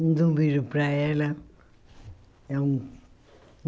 Manda um beijo para ela.